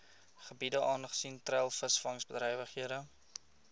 gebiede aangesien treilvisvangbedrywighede